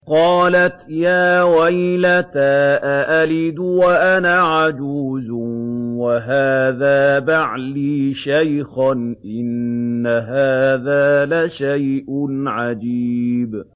قَالَتْ يَا وَيْلَتَىٰ أَأَلِدُ وَأَنَا عَجُوزٌ وَهَٰذَا بَعْلِي شَيْخًا ۖ إِنَّ هَٰذَا لَشَيْءٌ عَجِيبٌ